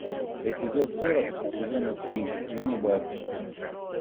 эпизод сорок сезона три ганнибал